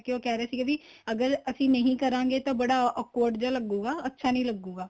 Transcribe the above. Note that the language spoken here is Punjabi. ਕਰਕੇ ਰਹੇ ਸੀ ਵੀ ਅਗਰ ਅਸੀਂ ਨਹੀਂ ਕਰਾਂਗੇ ਤਾਂ ਬੜਾ awkward ਜਾ ਲੱਗੂਗਾ ਅੱਛਾ ਨਹੀਂ ਲੱਗੂਗਾ